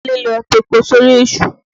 Kúnlé ló tepo sórí èṣù.